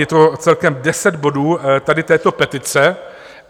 Je to celkem deset bodů tady této petice.